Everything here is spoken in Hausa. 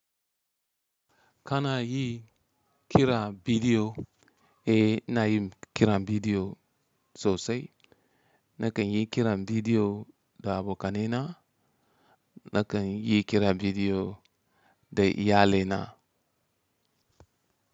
Kana yi kiran bidiyo, eh ina yin kiran bidiyo sosai. Nakan yi kiran bidiyo da abokanina, nakan yi kiran bidiyo da iyalaina.